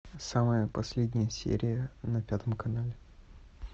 самая последняя серия на пятом канале